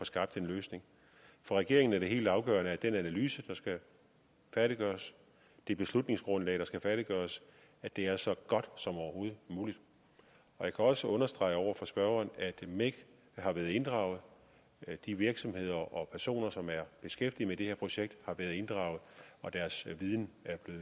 skabt en løsning for regeringen er det helt afgørende at den analyse der skal færdiggøres det beslutningsgrundlag der skal færdiggøres er så godt som overhovedet muligt jeg kan også understrege over for spørgeren at mec har været inddraget de virksomheder og personer som er beskæftiget med det her projekt har været inddraget og deres viden